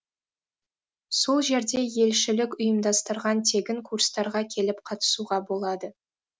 сол жерде елшілік ұйымдастырған тегін курстарға келіп қатысуға болады